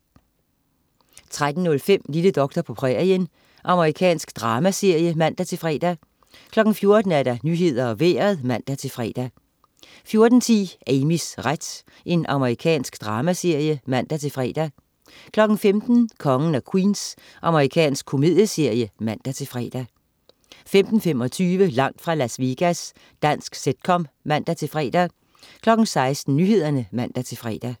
13.05 Lille doktor på prærien. Amerikansk dramaserie (man-fre) 14.00 Nyhederne og Vejret (man-fre) 14.10 Amys ret. Amerikansk dramaserie (man-fre) 15.00 Kongen af Queens. Amerikansk komedieserie (man-fre) 15.25 Langt fra Las Vegas. Dansk sitcom (man-fre) 16.00 Nyhederne (man-fre)